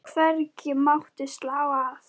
Hvergi mátti slá af.